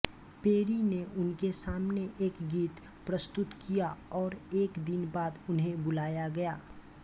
peri ने उनके सामने एक गीत प्रस्तुत किया और एक दिन बाद उन्हें बुलाया गया